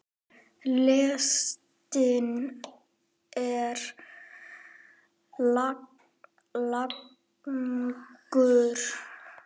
Listinn er langur.